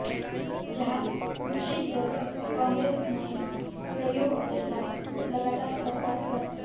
जहां विपक्षी दल कांग्रेस नए तथ्यों के साथ लगातार सरकार पर